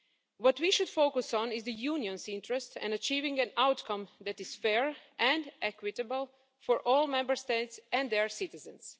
What we should focus on is the Union's interest in achieving an outcome that is fair and equitable for all Member States and their citizens.